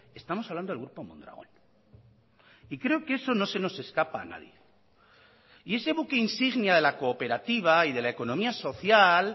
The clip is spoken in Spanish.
estamos hablando del grupo mondragón y creo que eso no se nos escapa a nadie y ese buque insignia de la cooperativa y de la economía social